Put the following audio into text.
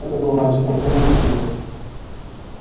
это был мальчик упрямый и сильный